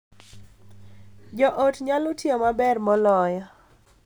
Jo ot nyalo tiyo maber moloyo,